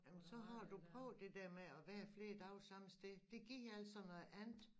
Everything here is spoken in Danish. Jamen så har du prøvet det der med at være flere dage samme sted det giver altså noget andet